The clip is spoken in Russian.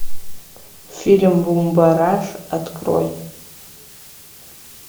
фильм бумбараш открой